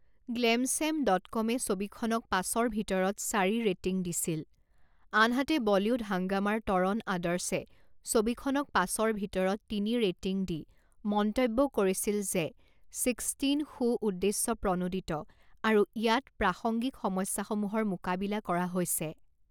Glamsham dot কমে ছবিখনক পাঁচৰ ভিতৰক চাৰি ৰেটিং দিছিল আনহাতে বলিউড হাঙ্গামাৰ তৰণ আদৰ্শে ছবিখনক পাঁচৰ ভিতৰত তিনি ৰেটিং দি মন্তব্য কৰিছিল যে ছিক্সটিন সু উদ্দেশ্যপ্ৰণোদিত আৰু ইয়াত প্ৰাসংগিক সমস্যাসমূহৰ মোকাবিলা কৰা হৈছে।